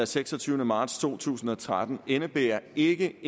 seksogtyvende marts to tusind og tretten indebærer ikke